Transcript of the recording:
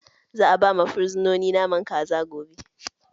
Za'a ba fursunoni naman kaza gobe.